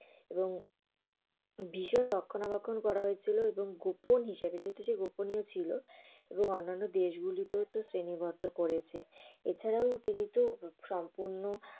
এবং বিষণ রক্ষণা বেক্ষণ করা হয়েছিলে। এবং গোপন হিসাবে। যেহেতু সে গোপনীয় ছিল। এবং অন্যান্য দেশগুলোকে শ্রেণিবদ্ধ করেছে। এছাড়া ও তিনি তো সম্পূর্ণ